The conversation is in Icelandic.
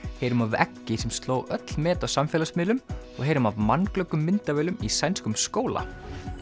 heyrum af eggi sem sló öll met á samfélagsmiðlum og heyrum af myndavélum í sænskum skóla